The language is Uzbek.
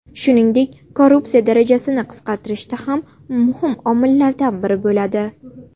Shuningdek, korrupsiya darajasini qisqartirishda ham muhim omillardan biri bo‘ladi.